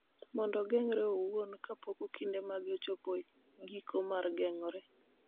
mondo ogeng�re owuon kapok okinde mage ochopo e giko mar geng�ore.